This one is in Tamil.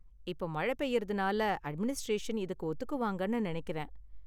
இப்ப மழை பெய்யறதுனால அட்மினிஸ்டரேஷன் இதுக்கு ஒத்துக்குவாங்கன்னு நினைக்கிறேன்.